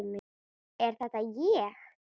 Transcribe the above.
Er þetta ég!?